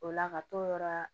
O la ka t'o yɔrɔ